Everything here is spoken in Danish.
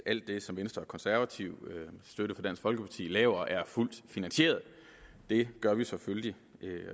at alt det som venstre og konservative med støtte fra dansk folkeparti laver er fuldt finansieret det er det selvfølgelig